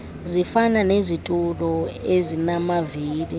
zifana nezitulo ezinamavili